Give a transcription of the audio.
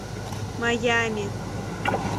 майами